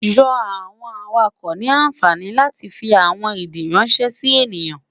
Yoo awọn awakọ ni anfani lati fi awọn idii ranṣẹ si eniyan